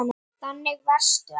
Þannig varstu, amma.